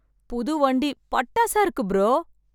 புது வண்டி பட்டாசா இருக்கு ப்ரோ!